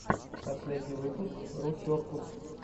последний выпуск русеркус